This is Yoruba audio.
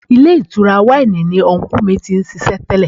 Ilé ìtura wáìnì ni unkú mi ti ń ṣiṣẹ́ tẹ́lẹ̀.